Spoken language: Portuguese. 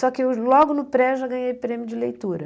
Só que logo no Pré, eu já ganhei prêmio de leitura.